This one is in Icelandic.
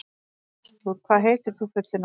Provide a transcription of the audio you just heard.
Artúr, hvað heitir þú fullu nafni?